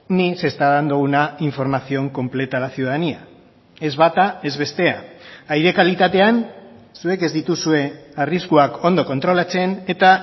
ni se está dando una información completa a la ciudadanía ez bata ez bestea aire kalitatean zuek ez dituzue arriskuak ondo kontrolatzen eta